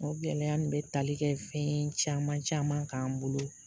O gɛlɛya nin bɛ tali kɛ fɛn caman caman k'an bolo